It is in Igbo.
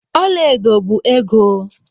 Ọla edo bụ ego.